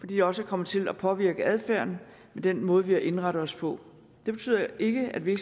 de også er kommet til at påvirke adfærden i den måde vi har indrettet os på det betyder ikke at vi